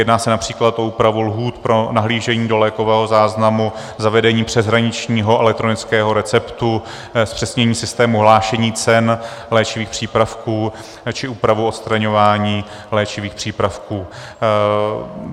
Jedná se například o úpravu lhůt pro nahlížení do lékového záznamu, zavedení přeshraničního elektronického receptu, zpřesnění systému hlášení cen léčivých přípravků či úpravu odstraňování léčivých přípravků.